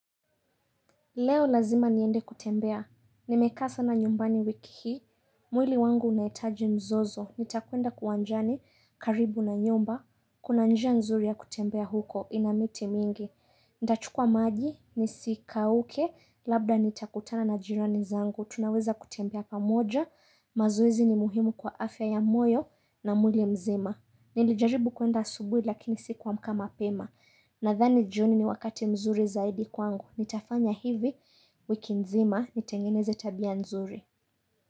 Leo lazima niende kutembea, nimekaa sana nyumbani wiki hii, mwili wangu unahitaji mzozo, nitakwenda uwanjani, karibu na nyumba, kuna njia nzuri ya kutembea huko, ina miti mingi. Nitachukua maji, nisikauke, labda nitakutana na jirani zangu, tunaweza kutembea pamoja, mazoezi ni muhimu kwa afya ya moyo na mwili na uzima. Nilijaribu kwenda asubuhi lakini sikuamka mapema Nathani jioni ni wakati mzuri zaidi kwangu Nitafanya hivi wiki nzima nitengeneze tabia mzuri.